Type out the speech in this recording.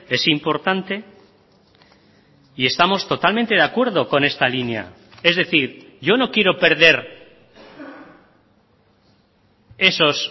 es importante y estamos totalmente de acuerdo con esta línea es decir yo no quiero perder esos